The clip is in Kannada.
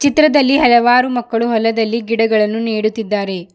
ಚಿತ್ರದಲ್ಲಿ ಹಲವಾರು ಮಕ್ಕಳು ಹೊಲದಲ್ಲಿ ಗಿಡಗಳನ್ನು ನೆಡುತ್ತಿದ್ದಾರೆ.